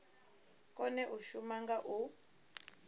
kone u shuma nga u